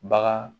Bagan